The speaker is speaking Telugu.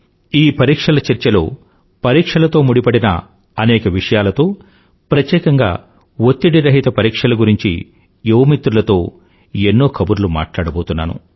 ఈ పరీక్షలలో చర్చలో పరీక్షలతో ముడిపడిన అనేక విషయాలతో ప్రత్యేకంగా ఒత్తిడి రహిత పరీక్షల గురించి యువ మిత్రులతో ఎన్నో కబుర్లు మాట్లాడబోతున్నాను